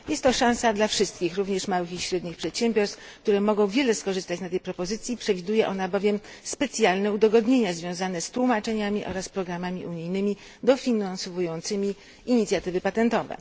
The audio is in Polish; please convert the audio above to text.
Jest to szansa dla wszystkich, również dla małych i średnich przedsiębiorstw, które mogą bardzo skorzystać na tej propozycji, przewiduje ona bowiem specjalne udogodnienia związane z tłumaczeniami oraz programami unijnymi dofinansowującymi inicjatywy patentowe.